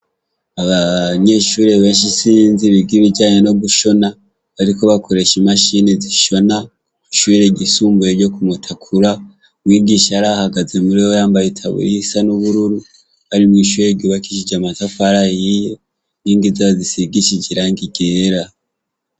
Abanyeshure benshi isinzi biga ibijanye no gushona bariko bakoresha imashine zishona ishure ryisumbuye ryo kumutakura umwigisha araho ahagazeho yambaye itaburiya isa nubururu ari mwishure ryubakishijwe amatafari ahiye inkigi zabo zisigishije irangi ryera